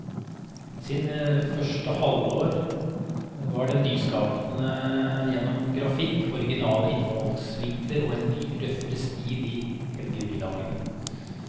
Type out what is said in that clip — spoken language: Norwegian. I sine første år var den nyskapende gjennom grafikk, originale innfallsvinkler og en ny, røffere stil i helgebilagene.